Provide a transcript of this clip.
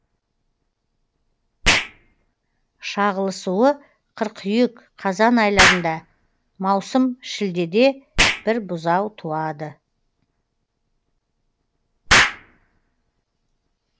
шағылысуы қыркүйек қазан айларында маусым шілдеде бір бұзау туады